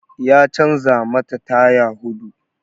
Ya canza mata taya huɗu